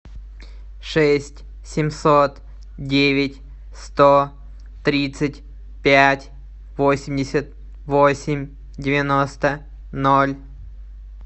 шесть семьсот девять сто тридцать пять восемьдесят восемь девяносто ноль